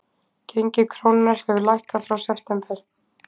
Gengi krónunnar hefur lækkað frá september